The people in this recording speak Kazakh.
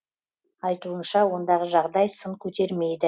айтуынша ондағы жағдай сын көтермейді